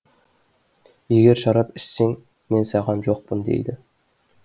егер шарап ішсең мен саған жоқпын дейді